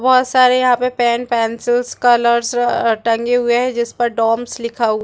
बहोत सारे यहाँ पर पेन पेंसिलस का कलर्स टंगे हुए है जिस पर डोम्स लिखा हुआ--